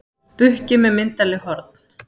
Bukki með myndarleg horn.